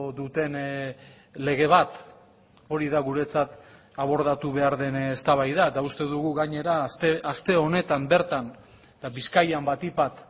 duten lege bat hori da guretzat abordatu behar den eztabaida eta uste dugu gainera aste honetan bertan eta bizkaian batik bat